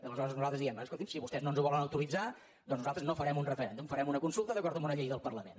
aleshores nosaltres diem escolti’m si vostès no ens ho volen autoritzar doncs nosaltres no farem un referèndum farem una consulta d’acord amb una llei del parlament